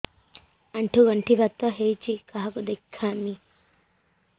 ଆଣ୍ଠୁ ଗଣ୍ଠି ବାତ ହେଇଚି କାହାକୁ ଦେଖାମି